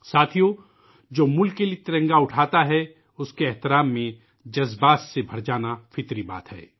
ساتھیو ، جو ملک کے لئے ترنگا اٹھاتا ہے ، اُس کے احترام میں جذباتی ہو جانا فطری بات ہے